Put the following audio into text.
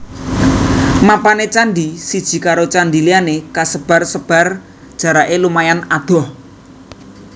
Mapané candhi siji karo candhi liyané kasebar sebar jaraké lumayan adoh